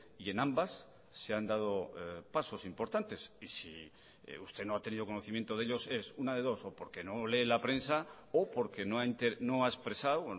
y en ambas se han dado pasos importantes y si usted no ha tenido conocimiento de ellos es una de dos o porque no lee la prensa o porque no ha expresado